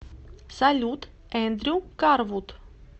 салют эндрю карвуд